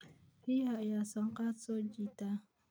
Riyaha ayaa sanqadh soo jiita.